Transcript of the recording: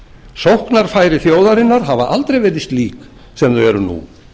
sóknarfæri þjóðarinnar hafa aldrei verið slík sem þau eru nú